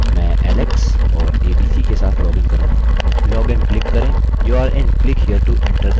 मैं alex और abc के साथ लॉगिन करूँगा log in क्लिक करें